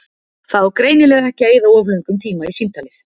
Það á greinilega ekki að eyða of löngum tíma í símtalið.